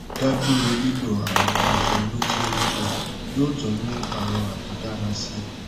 da duro lilo awọn aṣọ inu ti o nipọn yoo tun mu awọn ato dara si